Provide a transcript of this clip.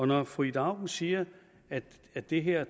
når fru ida auken siger at at det her